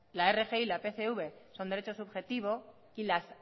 la rgi y la pcv son derechos subjetivos y las